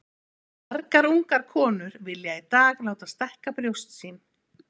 Margar ungar konur vilja í dag láta stækka brjóst sín.